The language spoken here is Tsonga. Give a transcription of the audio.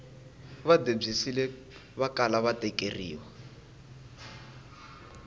va debyisile vakala va tekeriwa